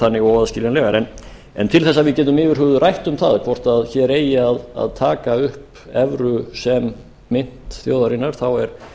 þannig óaðskiljanlegar en til þess að við getum yfir höfuð rætt um það hvort að hér eigi að taka upp evru sem mynt þjóðarinnar þá er